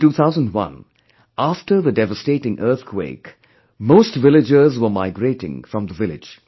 In 2001, after the devastating earthquake, most villagers were migrating from the village